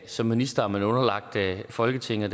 som minister er man underlagt folketinget